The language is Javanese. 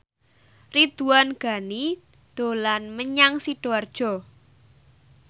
Ridwan Ghani dolan menyang Sidoarjo